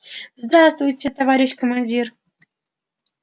здравствуйте товарищ командир